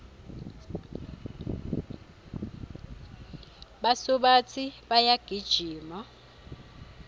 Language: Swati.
basubatsi bayagijima